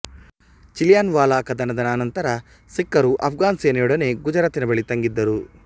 ಚಿಲಿಯನ್ವಾಲ ಕದನದ ಅನಂತರ ಸಿಕ್ಖರು ಆಘ್ಘನ್ ಸೇನೆಯೊಡನೆ ಗುಜರಾತಿನ ಬಳಿ ತಂಗಿದ್ದರು